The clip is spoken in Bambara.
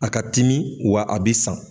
A ka timi wa a bɛ san.